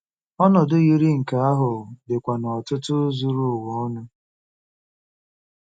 Ọnọdụ yiri nke ahụ dịkwa n'ọ̀tụ̀tụ̀ zuru ụwa ọnụ.